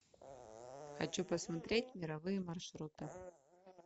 хочу посмотреть мировые маршруты